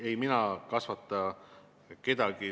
Ei mina kasvata kedagi.